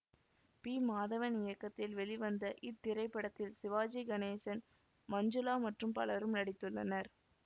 B Madhavan இயக்கத்தில் வெளிவந்த இத்திரைப்படத்தில் சிவாஜி கணேசன் மஞ்சுளா மற்றும் பலரும் நடித்துள்ளனர்